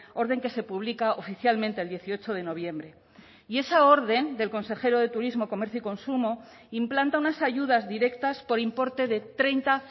orden que se publica oficialmente el dieciocho de noviembre y esa orden del consejero de turismo comercio y consumo implanta unas ayudas directas por importe de treinta